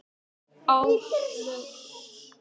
Áslaug hristi höfuðið og var sorgmædd á svipinn.